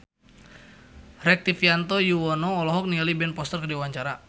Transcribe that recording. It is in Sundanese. Rektivianto Yoewono olohok ningali Ben Foster keur diwawancara